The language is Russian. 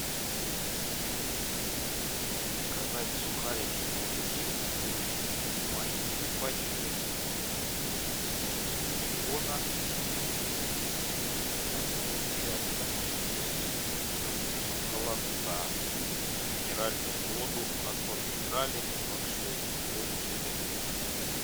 заказать сухарики хрустим маленькие пачки со вкусом бекона одну и одну со вкусом холодца и минеральную воду аква минерале ноль шесть две бутылки